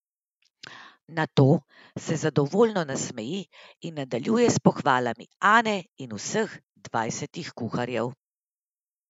Nato se zadovoljno nasmeji in nadaljuje s pohvalami Ane in vseh dvajsetih kuharjev.